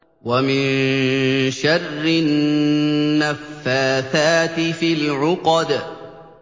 وَمِن شَرِّ النَّفَّاثَاتِ فِي الْعُقَدِ